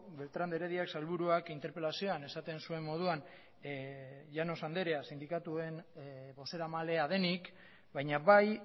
beltrán de heredia sailburuak interpelazioan esaten zuen moduan llanos anderea sindikatuen bozeramalea denik baina bai